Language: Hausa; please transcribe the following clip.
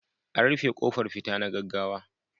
An rufe kofar fita na gaggawa.